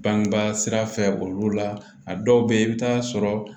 Bangebaa sira fɛ olu la a dɔw bɛ yen i bɛ taa sɔrɔ